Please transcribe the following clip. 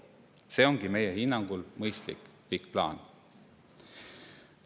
See ongi meie hinnangul mõistlik pikk plaan.